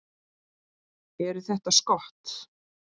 Eru þetta skot.